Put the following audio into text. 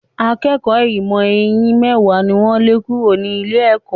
Akékọ̀ọ́ ìmọ̀ eyín mẹ́wàá ni wọ́n lé kúrò ní ilé-ẹ̀kọ́.